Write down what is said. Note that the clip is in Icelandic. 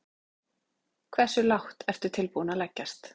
Hversu lágt ertu tilbúinn að leggjast?